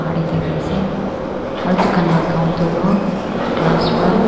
Bahar tey thaki ase aro dukan la counter toh glass para--